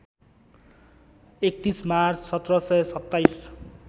३१ March १७२७